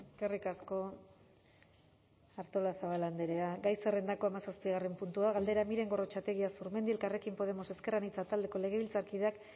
eskerrik asko artolazabal andrea gai zerrendako hamazazpigarren puntua galdera miren gorrotxategi azurmendi elkarrekin podemos ezker anitza taldeko legebiltzarkideak